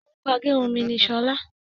Orúkọ agérun mí ní Ṣọlá.